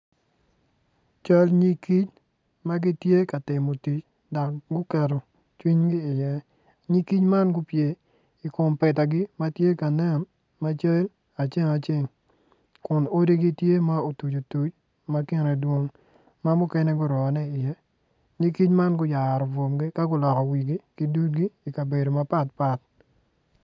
Cal nyig ki ma gitye ka timo tic dok guketo cwinygi iye nyig kic man gupye ikom petagi matye ka nen ma cal aceng aceng kun odigi tye ma otuc otuc ma kine dwong ma mukene gurone i iye nyig kic man guyaro bwomgi ka guloko wigi ki dudgi i kabedo mapatpat